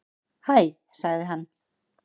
Hæ sagði hann.